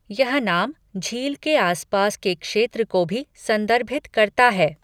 यह नाम झील के आसपास के क्षेत्र को भी संदर्भित करता है।